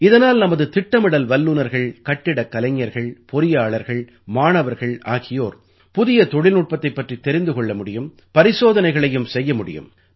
இதனால் நமது திட்டமிடல் வல்லுநர்கள் கட்டிடக் கலைஞர்கள் பொறியாளர்கள் மாணவர்கள் ஆகியோர் புதிய தொழில்நுட்பத்தைப் பற்றித் தெரிந்து கொள்ள முடியும் பரிசோதனைகளையும் செய்ய முடியும்